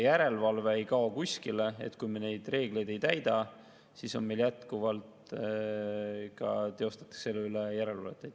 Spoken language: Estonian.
Järelevalve ei kao kuskile – kui me neid reegleid ei täida, siis jätkuvalt teostatakse selle üle järelevalvet.